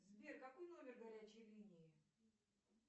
сбер какой номер горячей линии